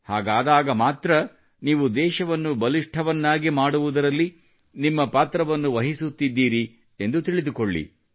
ಹಾಗಾದಾಗ ಮಾತ್ರ ನೀವು ದೇಶವನ್ನು ಬಲಿಷ್ಠ್ಟವನ್ನಾಗಿ ಮಾಡುವುದರಲ್ಲಿ ನಿಮ್ಮ ಪಾತ್ರವನ್ನು ವಹಿಸುತ್ತಿದ್ದೀರಿ ಎಂದು ತಿಳಿದುಕೊಳ್ಳಿ